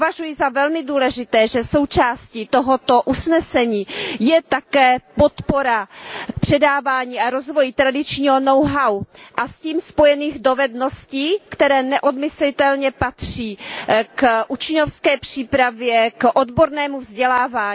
Považuji za velmi důležité, že součástí tohoto usnesení je také podpora předávání a rozvoje tradičního know how a s tím spojených dovedností, které neodmyslitelně patří k učňovské přípravě, k odbornému vzdělávání.